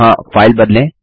यहाँ फाइल बदलें